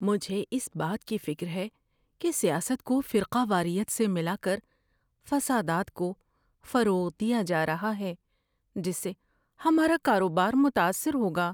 مجھے اس بات کی فکر ہے کہ سیاست کو فرقہ واریت سے ملا کر فسادات کو فروغ دیا جا رہا ہے جس سے ہمارا کاروبار متاثر ہوگا۔